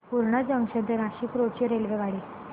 Purna junction ते Nashik road ची रेल्वेगाडी